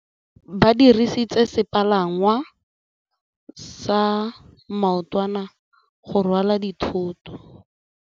Ba dirisitse sepalangwasa maotwana go rwala dithôtô.